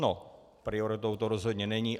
No, prioritou to rozhodně není.